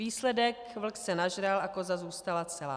Výsledek - vlk se nažral a koza zůstala celá.